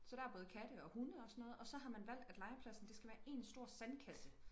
så der er både katte og hunde og sådan noget og så har man valgt at legepladsen det skal være en stor sandkasse